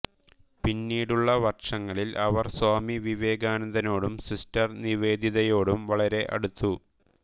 പിന്നീടുള്ള വർഷങ്ങളിൽ അവർ സ്വാമി വിവേകാനന്ദനോടും സിസ്റ്റർ നിവേദിതയോടും വളരെ അടുത്തു